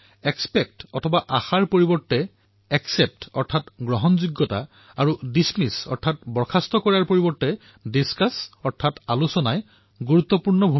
except ৰ পৰিৱৰ্তে accept আৰু ডিছমিচ কৰাৰ পৰিৱৰ্তে ডিস্কাছ কৰাৰ সংবাদ প্ৰভাৱী হব